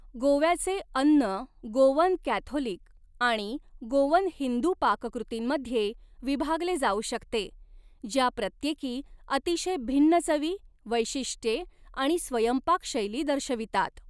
गोव्याचे अन्न Goan Catholic आणि गोवन हिंदू पाककृतींमध्ये विभागले जाऊ शकते, ज्या प्रत्येकी अतिशय भिन्न चवी, वैशिष्ट्ये आणि स्वयंपाक शैली दर्शवितात.